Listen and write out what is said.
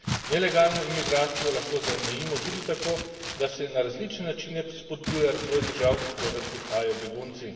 Nelegalno imigracijo lahko zamejimo tudi tako, da se na različne načine spodbuja razvoj držav, od koder prihajajo begunci.